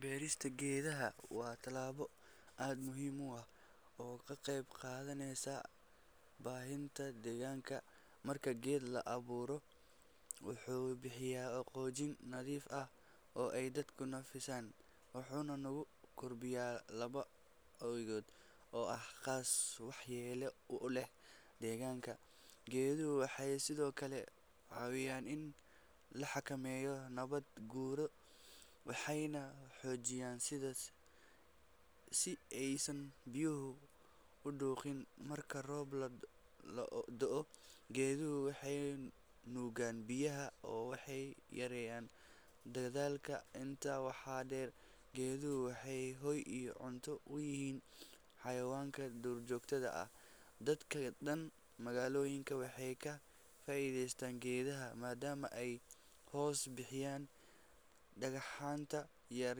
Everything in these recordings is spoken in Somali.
Beerista geedaha waa talaabo aad muhiima ah oo ka qayb qaaganeysaa baahinta deegaanka. Marka geed la abuuro, wuxuu bixiyaa oo qoojin nadiif ah oo ay dadku naqsiisaan. Waxuna nagu kor biyaa laba awigood oo ah khaas wax yeelo u leh deegaanka. Geeduhu waxay sidoo kale caawiyaan in laxaka meeyo nabad guuro. Waxayna xoojiyaan sida si eysan biyuhu u duuxin marka roob la do'o. Geeduhu waxay nuugaan biyaha oo waxay yareyan. Dagdaalka intaa waxaa dheer, geeduhu waxay hoy iyo cunto wiyiin xayawaanka durjoogtada ah. Dadka dhan magaalooyinka waxay ka faa'iideystaan geedaha maadaama ay hoos bixiyaan dhagxaanta yar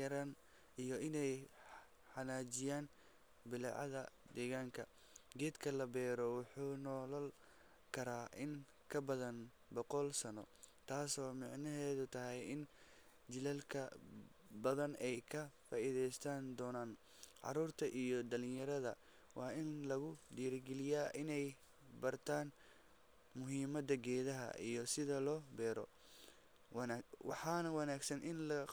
yaraan iyo inay xanaajiyaan bilacaga deegaanka. Geedka la beero wuxuu noolal karaa in ka badan 100 sano. Taaso macnoheedu tahay in jilalka badan ay ka faa'iideystaan doonaan caruurta iyo dhalinyarada waa in lagu dirgeliyaa inay bartaan muhiimadda geedaha iyo sida loo beero. Wanaag waxaanu wanaagsan in la qaboojin.